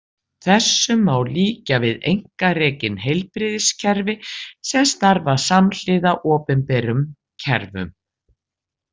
Þessu má líkja við einkarekin heilbrigðiskerfi sem starfa samhliða opinberum kerfum.